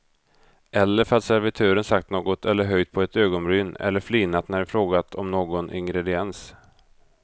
Eller för att servitören sagt något eller höjt på ett ögonbryn eller flinat när vi frågat om någon ingrediens.